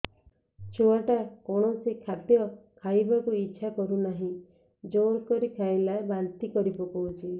ଛୁଆ ଟା କୌଣସି ଖଦୀୟ ଖାଇବାକୁ ଈଛା କରୁନାହିଁ ଜୋର କରି ଖାଇଲା ବାନ୍ତି କରି ପକଉଛି